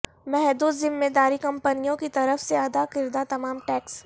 محدود ذمہ داری کمپنیوں کی طرف سے ادا کردہ تمام ٹیکس